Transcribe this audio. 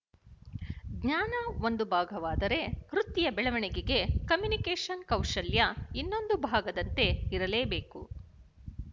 ಜ್ಞಾನ ಒಂದು ಭಾಗವಾದರೆ ವೃತ್ತಿಯ ಬೆಳವಣಿಗೆಗೆ ಕಮ್ಯುನಿಕೇಶನ್‌ ಕೌಶಲ್ಯ ಇನ್ನೊಂದು ಭಾಗದಂತೆ ಇರಲೇ ಬೇಕು